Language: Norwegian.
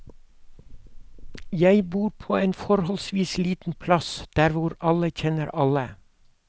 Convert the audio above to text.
Jeg bor på en forholdsvis liten plass, der hvor alle kjenner alle.